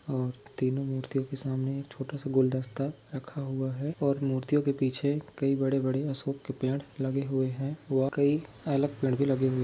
और तीनों मूर्तियो के सामने छोटा सा गुलदस्ता रखा हुआ है और मूर्तियों के पीछे कई बड़े-बड़े अशोक के पेड़ लगे हुए है वहा कई अलग पेड़ भी लगे हुए --